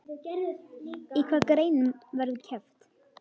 Í hvaða greinum verður keppt?